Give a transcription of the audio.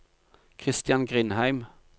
Christian Grindheim